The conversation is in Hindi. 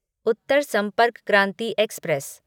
उत्तर संपर्क क्रांति एक्सप्रेस